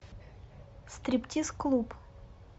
стриптиз клуб